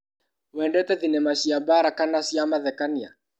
Wendete thinema cia mbara kana cia mathekania?